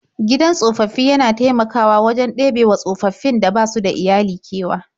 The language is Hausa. Gidan tsofaffi yana taimakawa wajen ɗebewa tsofaffin da basu da iyali kewa.